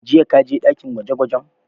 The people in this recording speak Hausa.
Jiya ka je ɗakin gwaje gwajen?